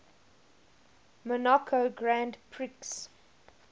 monaco grand prix